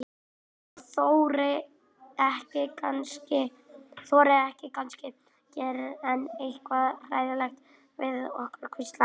Ég þori ekki, kannski gerir hann eitthvað hræðilegt við okkur. hvíslaði